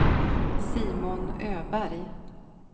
Simon Öberg